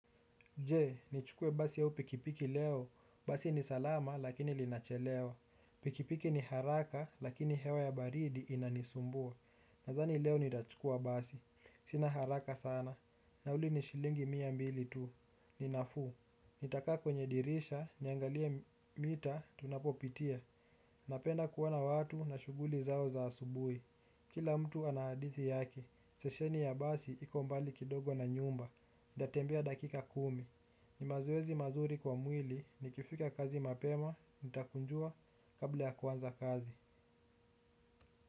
Je, nichukue basi au pikipiki leo. Basi ni salama lakini linachelewa. Pikipiki ni haraka lakini hewa ya baridi inanisumbua. Nadhani leo nitachukua basi. Sina haraka sana. Nauli ni shilingi mia mbili tu. Ni nafuu. Nitakaa kwenye dirisha, niangalie mita, tunapopitia. Napenda kuona watu na shughuli zao za asubuhi. Kila mtu ana hadithi yake. Stesheni ya basi iko mbali kidogo na nyumba. Ntatembea dakika kumi. Ni mazoezi mazuri kwa mwili. Nikifika kazi mapema nitakunjua kabla ya kuanza kazi.